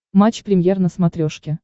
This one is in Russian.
матч премьер на смотрешке